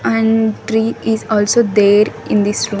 And tree is also there in this room.